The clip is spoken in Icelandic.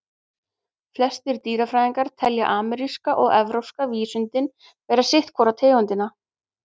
Flestir dýrafræðingar telja ameríska og evrópska vísundinn vera sitt hvora tegundina.